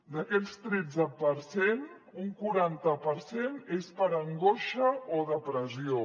d’aquest tretze per cent un quaranta per cent és per angoixa o depressió